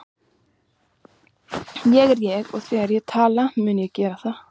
Ég er ég og þegar ég vil tala mun ég gera það.